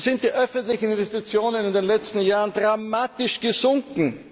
So sind die öffentlichen Investitionen in den letzten Jahren dramatisch gesunken.